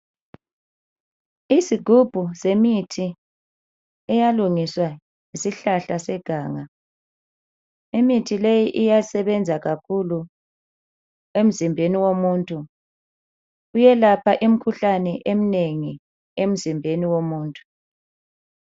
Izigubhu zemithi eyalungiswa ngesihlahla seganga. Imithi leyi iyasebenza kakhulu emzimbeni womuntu. Iyelapha imikhuhlane eminengi emzimbeni womuntu.